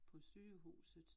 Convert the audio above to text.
På sygehuset